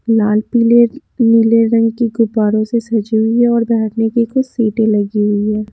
लाल पीले नीले रंग की गुब्बारों से सजी हुई है और बैठने की कुछ सीटें लगी हुई हैं।